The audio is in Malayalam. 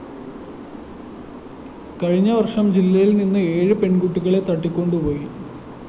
കഴിഞ്ഞവര്‍ഷം ജില്ലയില്‍ നിന്ന് ഏഴ് പെണ്‍കുട്ടികളെ തട്ടിക്കൊണ്ടുപോയി